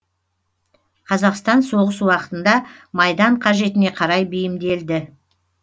қазақстан соғыс уақытында майдан қажетіне қарай бейімделді